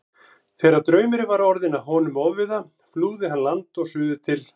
Þegar draumurinn var orðinn honum ofviða flúði hann land og suður til